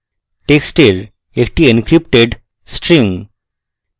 টেক্সটের একটি encrypted string